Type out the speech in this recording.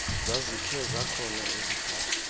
zazikhe zakhona iziphatho